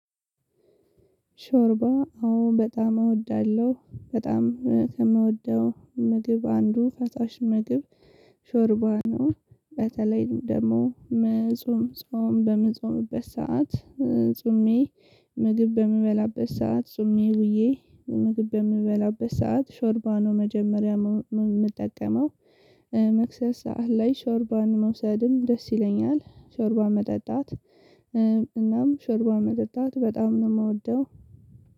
ሾርባ አሁን በጣም እወዳለሁ በጣም ከምወደው ምግብ አንዱ ፈሳሽ ምግብ ሾርባ ነው። በተለይ ደግሞ መጾም ጾም በምጾምበት ሰዓት። ጾሜ ምግብ በምበላበት ሰዓት ጾሜ ውዬ። ምግብ በምበላበት ሰዓት ሾርባ ነው መጀመርያ ምጠቀመው። መክሰስ ሰዓት ላይ ሾርባን መውሰድም ደስ ይለኛል። ሾርባ መጠጣት። እናም ሾርባ መጠጣት በጣም ነው ምወደው